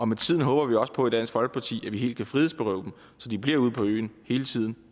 med tiden håber vi også på i dansk folkeparti at man helt kan frihedsberøve dem så de bliver ude på øen hele tiden